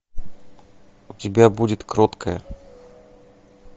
у тебя будет кроткая